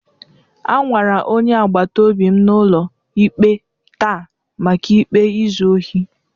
A nwara onye agbata obi m n'ụlọ ikpe taa maka ikpe izu ohi.